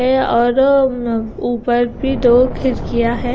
है और ऊं ऊपर भी दो खिड़कीया है।